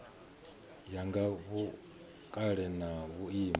ya nga vhukale na vhuimo